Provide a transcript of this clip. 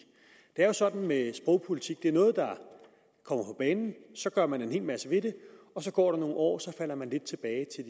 det er jo sådan med sprogpolitik at det er noget der kommer på banen så gør man en hel masse ved det og så går der nogle år og så falder man lidt tilbage